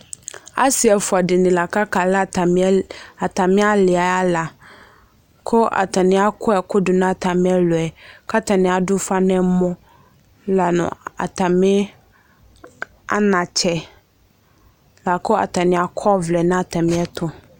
Ase ɛfua de ne la kaka la atame, atame ali ala ko atane akɔ ɛku do no atame ɛluɛ ka atane ado ufa nɛmɔ la no atame anatsɛ Lako atane akɔ ɔblɛ na atame ɛto